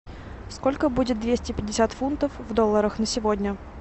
сколько будет двести пятьдесят фунтов в долларах на сегодня